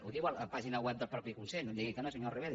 ho diu a la pàgina web del mateix consell no em digui que no senyora ribera